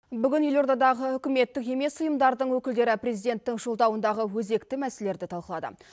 бүгін елордадағы үкіметтік емес ұйымдардың өкілдері президенттің жолдауындағы өзекті мәселелерді талқылады